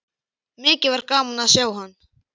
Mikið var gaman að sjá hann.